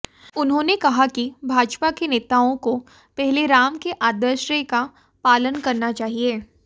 उन्होंने कहा कि भाजपा के नेताओं को पहले राम के आदशरें का पालन करना चाहिए